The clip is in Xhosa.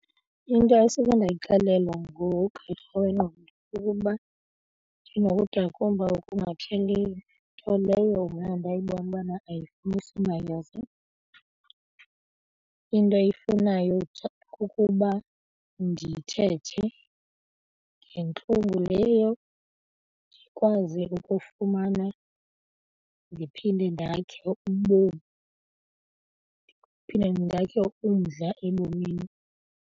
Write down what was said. Into esuke ndayixelela ngugqirha wengqondo kukuba okungapheliyo nto leyo mna ndayibona ubana ayifunisi mayeza into eyifunayo kukuba ndithethe ngentlungu leyo ndikwaze ukufumana ndiphinde ndakhe ubomi ndiphinde ndakhe umdla ebomini.